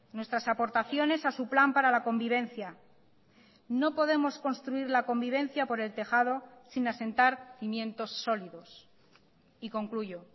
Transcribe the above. nuestras aportaciones a su plan para la convivencia no podemos construir la convivencia por el tejado sin asentar cimientos sólidos y concluyo